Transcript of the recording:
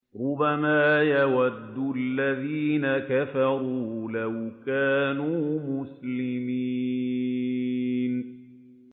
رُّبَمَا يَوَدُّ الَّذِينَ كَفَرُوا لَوْ كَانُوا مُسْلِمِينَ